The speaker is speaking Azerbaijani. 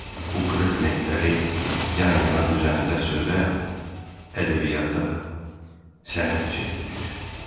Bu qırıq lentləri yan-yana düzəndə sözə, ədəbiyyata, sənətə çevrilir.